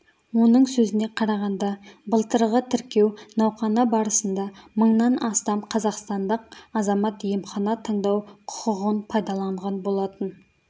оның сөзіне қарағанда былтырғы тіркеу науқаны барысында мыңнан астам қазақстандық азамат емхана таңдау құқығын пайдаланған болатын